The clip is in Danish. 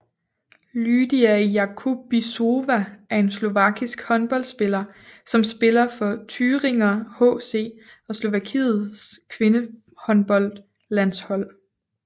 Lýdia Jakubisová er en slovakisk håndboldspiller som spiller for Thüringer HC og Slovakiets kvindehåndboldlandshold